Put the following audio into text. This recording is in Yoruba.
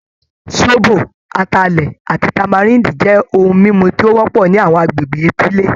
Zobo, Atalẹ, ati tamarind jẹ ohun mímu ti o wọ́pọ̀ ni àwọn àgbègbè etile